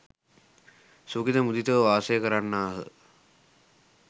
සුඛිත මුදිතව වාසය කරන්නාහ.